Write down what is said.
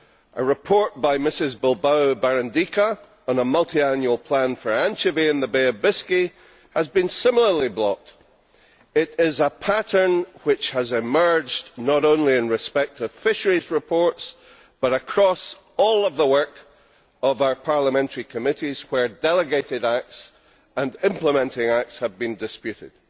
A report by Ms Bilbao Barandica on a multiannual plan for anchovy in the Bay of Biscay has been similarly blocked. This is a pattern which has emerged not only in respect of fisheries reports, but across all the work of our parliamentary committees where delegated acts and implementing acts have been disputed.